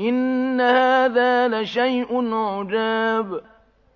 إِنَّ هَٰذَا لَشَيْءٌ عُجَابٌ